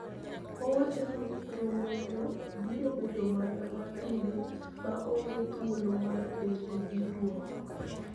Owacho ni romo no biro bedo mana mapile ma onge thuolo mar penjo gi dwoko.